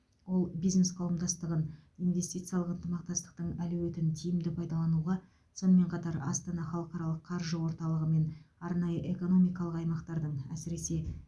ол бизнес қауымдастығын инвестициялық ынтымақтастықтың әлеуетін тиімді пайдалануға сонымен қатар астана халықаралық қаржы орталығы мен арнайы экономикалық аймақтардың әсіресе